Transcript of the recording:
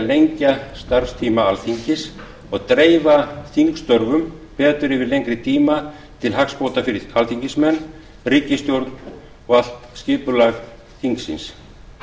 lengja starfstíma alþingis og dreifa þingstörfum betur yfir lengri tíma til hagsbóta fyrir alþingismenn ríkisstjórn og allt skipulag þingsins